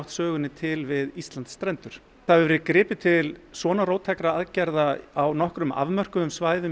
sögunni til við Íslandsstrendur það hefur verið gripið til svona róttækra aðgerða á nokkrum afmörkuðum svæðum